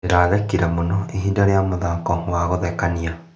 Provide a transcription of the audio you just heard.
Ndĩrathekire mũno ihinda rĩa mũthako wa gũthekania.